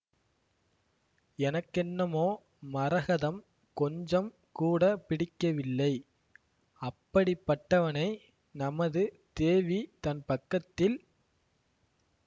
எனக்கென்னமோ மரகதம் கொஞ்சம் கூட பிடிக்கவில்லை அப்படிப்பட்டவனை நமது தேவி தன் பக்கத்தில்